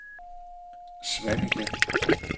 Svaneke